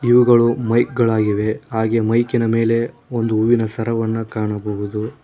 ಇವುಗಳು ಮೈಕ್ ಗಳಾಗಿವೆ ಹಾಗೆ ಮೈಕಿನ ಮೇಲೆ ಒಂದು ಹೂವಿನ ಸರವನ್ನ ಕಾಣಬಹುದು.